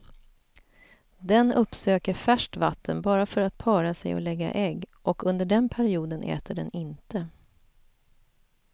Den uppsöker färskt vatten bara för att para sig och lägga ägg och under den perioden äter den inte.